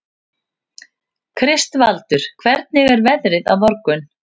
Kristvaldur, hvernig er veðrið á morgun?